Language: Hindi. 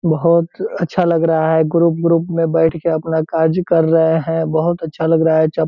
बहुत अच्छा लग रहा है ग्रुप - उरूप में बैठके अपना काज कर रहे हैं बहुत अच्छा लग रहा है चप --